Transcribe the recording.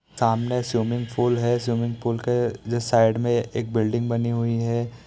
सामने swimming pool है swimming pool के जस्ट साइड मे एक बिल्डिंग बनी हुई है।